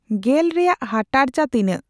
ᱜᱮᱞ ᱨᱮᱭᱟᱜ ᱦᱟᱴᱟᱬᱪᱟ ᱛᱤᱱᱟᱹᱜ